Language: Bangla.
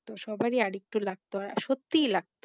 সবারই আর একটু লাগ্তো আর সত্যিই লাগতো